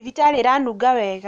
Thibitarĩ ĩranunga wega